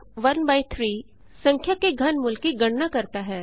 Cआई13 संख्या के घनमूल की गणना करता है